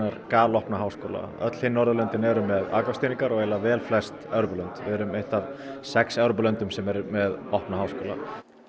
galopna háskóla öll hin Norðurlöndin eru með aðgangsstýringar og vel flest Evrópulönd við erum eitt af sex Evrópulöndum sem eru með opna háskóla